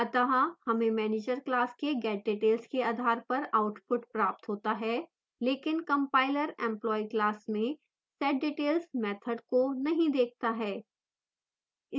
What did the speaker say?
अत: हमें manager class के getdetails के आधार पर output प्राप्त होता है लेकिन compiler employee class में setdepartment मैथड को नहीं देखता है